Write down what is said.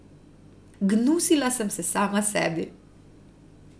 Gnusila sem se sama sebi.